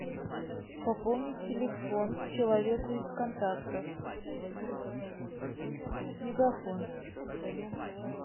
пополнить телефон человеку из контактов мегафон